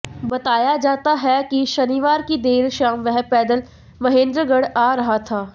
बताया जाता है कि शनिवार की देर शाम वह पैदल महेन्द्रगढ़ आ रहा था